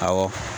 Awɔ